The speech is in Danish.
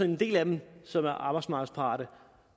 en del af dem som er arbejdsmarkedsparate